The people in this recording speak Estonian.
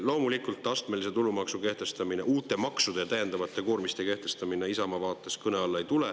Loomulikult, astmelise tulumaksu kehtestamine, uute maksude ja täiendavate koormiste kehtestamine ei tule Isamaa vaates kõne alla.